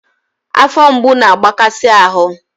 Afọ mgbu na-agbakasi ahụ